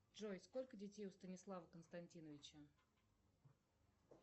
джой сколько детей у станислава константиновича